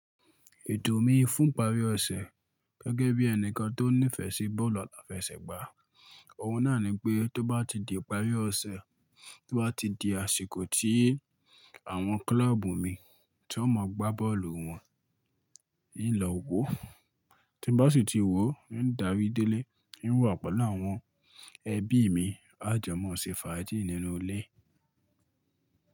Ètò mi fún ìparí ọ̀sẹ̀ gẹ́gẹ́ bí ẹnìkan tó nífẹ̀ẹ́ sí bọ́ọ̀lù aláfẹsẹ̀gbá, ọ̀hun náà ni pé tó bá ti di ìparí ọ̀sẹ̀, tó bá ti di àsìkò tí àwọn kílọ́ọ̀bù mi tí wọ́n o máa gbá bọ́ọ̀lù wọn, hiń lọ wò. Tí n bá sì ti wò, ń darí délé, ń wà pẹ̀lú àwọn ẹbí mi, a jọ máa ṣe fàájì nínú ilé.